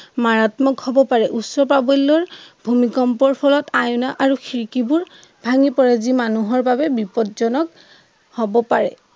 মাৰাত্মক হব পাৰে। উচ্চপাবল্য় ভূমিকম্পৰ ফলত আইনা আৰু খিৰিকিবোৰ ভাঙি পৰে যি মানুহৰ বাবে বিপদজনক হব পাৰে।